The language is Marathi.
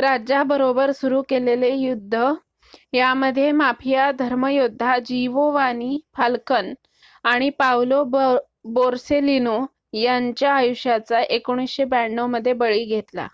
राज्या बरोबर चालू केलेले युद्ध ह्यामध्ये माफिया धर्मयोद्धा जीवोवानी फाल्कन आणि पावलो बोर्सेलीनो यांच्या आयुष्याचा 1992 मध्ये बळी घेतला